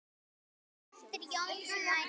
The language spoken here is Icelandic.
eftir Jón Snædal